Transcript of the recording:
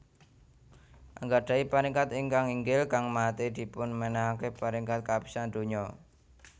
Anggadahi Paringkat ingkang inggil kang nate dipunmenangake paringkat kapisan donya